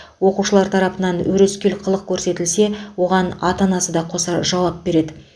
оқушылар тарапынан өрескел қылық көрсетілсе оған ата анасы да қоса жауап береді